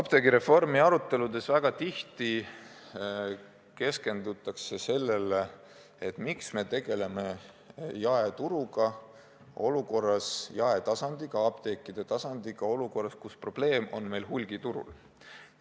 Apteegireformi aruteludes keskendutakse väga tihti sellele, miks me tegeleme jaeturuga, jaetasandiga, apteekide tasandiga olukorras, kus probleem on hulgiturul.